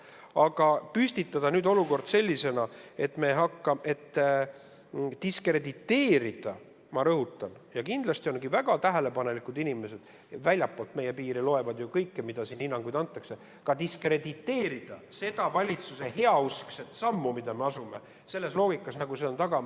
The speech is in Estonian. Aga püstitada nüüd olukord sellisena, et diskrediteerida – ma rõhutan, et kindlasti on väga tähelepanelikke inimesi väljaspoolt meie piire, kes loevad ju kõike, mis hinnanguid siin antakse –, diskrediteerida seda valitsuse heauskset sammu, mille me astume vastavalt sellele loogikale, mis siin taga on ...